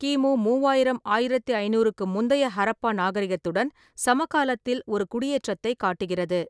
கிமு மூவாயிரம் -ஆயிரத்து ஐநூறுக்கு முந்தைய ஹராப்பா நாகரிகத்துடன் சமகாலத்தில் ஒரு குடியேற்றத்தைக் காட்டுகிறது.